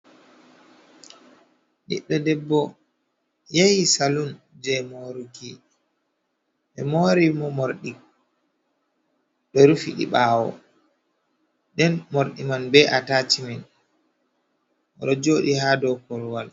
Ɓiɗɗo debbo yahi salun je moruki, ɓe mori mo morɗi, rufi di ɓawo den morɗi man be atashimen oɗo jooɗi i ha dou korwal